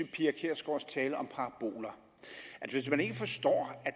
pia kjærsgaards tale om paraboler at hvis man ikke forstår at